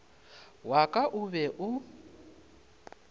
wa ka o be o